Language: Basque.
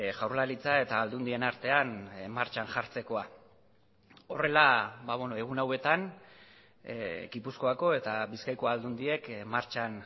jaurlaritza eta aldundien artean martxan jartzekoa horrela egun hauetan gipuzkoako eta bizkaiko aldundiek martxan